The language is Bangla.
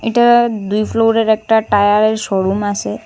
এটা দুই ফ্লোরের একটা টায়ারের শোরুম আসে।